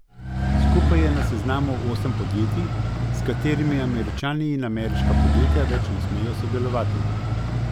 Skupaj je na seznamu osem podjetij, s katerimi Američani in ameriška podjetja več ne smejo sodelovati.